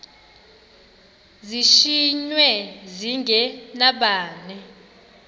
zishiywe zinge nabani